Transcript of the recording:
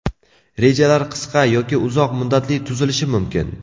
Rejalar qisqa yoki uzoq muddatli tuzilishi mumkin.